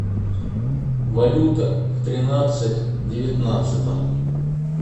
валюта в тринадцать девятнадцатом